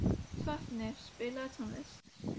Sváfnir, spilaðu tónlist.